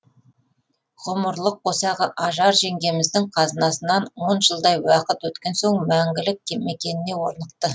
ғұмырлық қосағы ажар жеңгеміздің қазасынан он жылдай уақыт өткен соң мәңгілік мекеніне орнықты